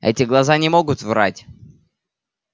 эти глаза не могут врать